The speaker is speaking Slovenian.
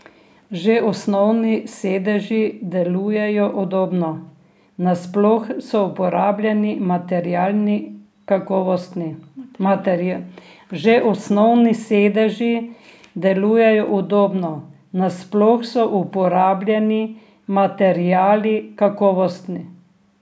Že osnovni sedeži delujejo udobno, nasploh so uporabljeni materiali kakovostni.